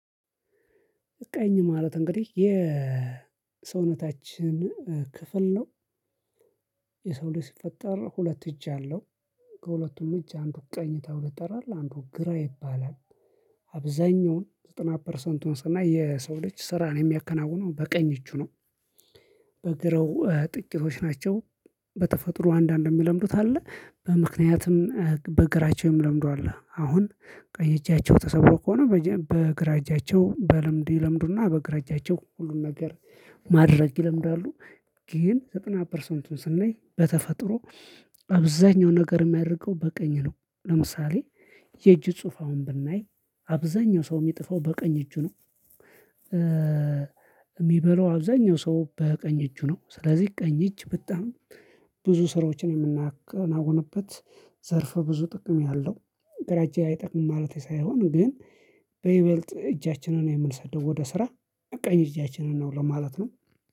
ቀኝ ማለት እንግዲህ የሰውነታችን ክፍል ነው። ልጅ ሲፈጠር ሁለት እጅ አለው። ከሁለቱም እጅ አንዱ ቀኝ ተብሎ ይጠራል አንዱ ግራ ይባላል። አብዛኛውን ዘጠና ፐርሰንቱ ስናይ የሰው ልጅ ስራ የሚያከናውነው በቀኝ እጁ ነው። በግራው ጥቂቶች ናቸው። በተፈጥሮ አንዳንድ የሚለምዱት አለ በምክንያትም በእግራቸው የምለምዱ አለ አሁን ቀኝ እጃቸው ተሰብሮ ከሆነ በግራ እጃቸው በልምድ ይለምዱና በግራ እጃቸው ሁሉንም ነገር ማድረግ ይለምዳሉ። ግን ዘጠና ፐርሰንቱን ስንይ በተፈጥሮ። አብዛኛው ነገር የሚያደርገው በቀኝ ነው ለምሳሌ የእጅ ጽሁፍ አሁን ብናይ አብዛኛው ሰው የሚጥፈው በቀኝ እጁ ነው። ሚበላው አብዛኛው ሰው በቀኝ እጁ ነው ስለዚህ ቀኝ እጅ በጣም ብዙ ስራዎችን የምናከናውንበት ዘርፍ ብዙ ጥቅም ያለው። ግራ እጅ አይጠቅምም ማለቴ ሳይሆን ግን በይበልጥ እጃችንን የምንሰደው ወደ ስራ ቀኝ እጃችንን ነው ለማለት ነው